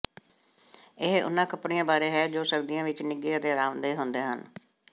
ਇਹ ਉਨ੍ਹਾਂ ਕੱਪੜਿਆਂ ਬਾਰੇ ਹੈ ਜੋ ਸਰਦੀਆਂ ਵਿੱਚ ਨਿੱਘੇ ਅਤੇ ਅਰਾਮਦੇਹ ਹੁੰਦੇ ਹਨ